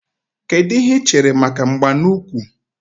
Kedụ ihe i chere maka mgba n'úkwù